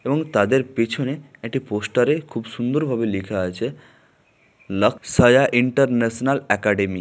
এবং তাদের পেছনে একটি পোস্টার -এ খুব সুন্দর ভাবে লেখা আছে লাকসায়া ইন্টারন্যাশনাল একাডেমি ।